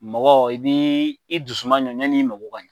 Mɔgɔ i bi i dusu aɲɔ yani i mɔgɔ ka ɲɛ